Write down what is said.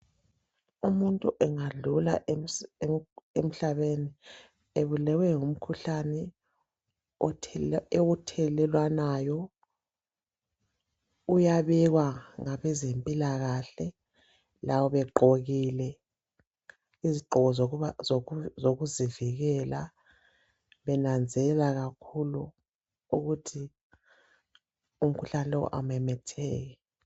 Umuntu angadlula emhlabeni ebulewe ngumkhuhlane othelelwanayo, uyabekwa ngabezempilakahle. lqLabo begqokile izigqoko zoKuzivikela, Benanzelela kakhulu ukuthi umkhuhlane lo kawumemetheki.